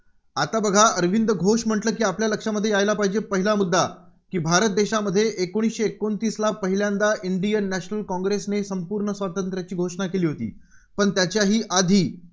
आता बघा अरविंद घोष म्हटलं की आपल्या लक्षामध्ये यायला पाहिजे पहिला मुद्दा की भारत देशामध्ये एकोणीसशे एकोणतीसला पहिल्यांदा इंडियन नॅशनल काँग्रेसने संपूर्ण स्वातंत्र्याची घोषणा केली होती. पण त्याच्याही आधी